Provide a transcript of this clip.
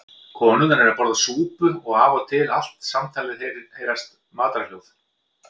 Konurnar eru að borða súpu og af og til allt samtalið heyrast matarhljóð.